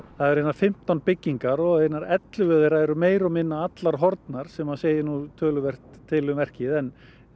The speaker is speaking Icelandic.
það eru hérna fimmtán byggingar og ellefu meira og minna horfnar sem segir töluvert til um verkið en